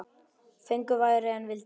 Fengu færri en vildu.